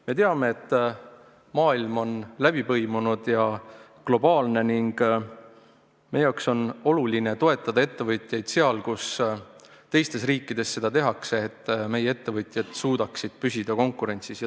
Me teame, et maailm on läbipõimunud ja globaalne ning meie jaoks on oluline toetada ettevõtjaid seal, kus teisteski riikides seda tehakse, et meie ettevõtjad suudaksid püsida konkurentsis.